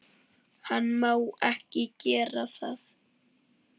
Hann má ekki gera það.